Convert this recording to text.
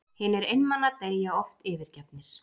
Hinir einmana deyja oft yfirgefnir.